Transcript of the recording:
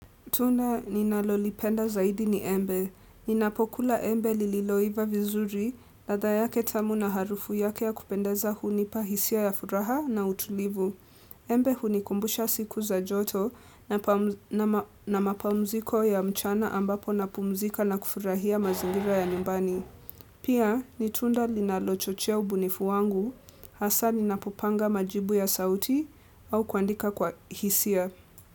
Tunda ninalolipenda zaidi ni embe. Ninapokula embe lililoiva vizuri, latha yake tamu na harufu yake ya kupendeza hunipa hisia ya furaha na utulivu. Embe hunikumbusha siku za joto na mapumziko ya mchana ambapo napumzika na kufurahia mazingira ya nyumbani. Pia, ni tunda linalochochea ubunifu wangu, hasa ninapopanga majibu ya sauti au kuandika kwa hisia.